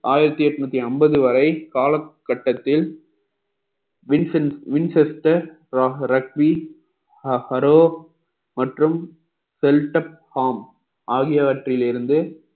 ஆயிரத்தி எட்நூத்தி அம்பது வரை காலகட்டத்தில் winchester மற்றும் ஆகியவற்றில் இருந்து